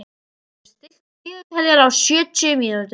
Mildríður, stilltu niðurteljara á sjötíu mínútur.